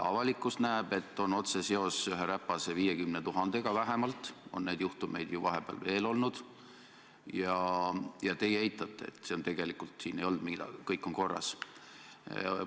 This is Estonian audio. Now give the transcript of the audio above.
Avalikkus näeb, et on otsene seos ühe räpase 50 000-ga vähemalt, neid juhtumeid on ju vahepeal veel olnud, aga te eitate, ütlete, et siin ei olnud midagi, kõik on korras.